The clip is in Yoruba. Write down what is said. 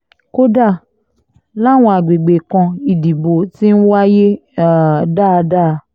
kódà làwọn àgbègbè kan ìdìbò ti ń wáyé um dáadáa